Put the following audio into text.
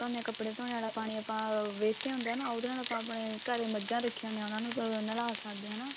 ਆਂ ਕੱਪੜੇ ਧੋਣੇ ਆਲਾ ਪਾਣੀ ਆਪਾਂ ah waste ਹੀ ਹੁੰਦਾ ਨਾ ਉਹਦੇ ਨਾਲ ਆਪਾਂ ਆਪਣੇ ਘਰੇ ਮੱਝਾ ਰੱਖੀਆਂ ਹੁੰਦੀਆਂ ਉਹਨਾਂ ਨੂੰ ਨਲਾ ਸੱਕਦੇ ਆਂ ਨਾ